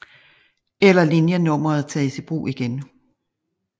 Eller linjenummeret tages i brug igen